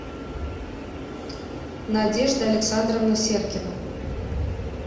надежда александровна серкина